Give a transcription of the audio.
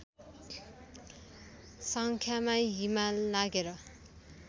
सङ्ख्यामा हिमाल नाघेर